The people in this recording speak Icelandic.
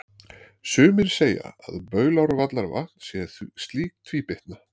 sumir segja að baulárvallavatn sé slík tvíbytna